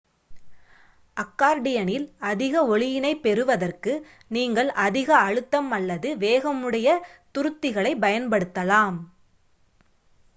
அக்கார்டியனில் அதிக ஒலியினைப் பெறுவதற்கு நீங்கள் அதிக அழுத்தம் அல்லது வேகமுடைய துருத்திகளைப் பயன்படுத்தலாம்